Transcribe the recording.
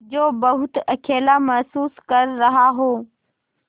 जो बहुत अकेला महसूस कर रहा हो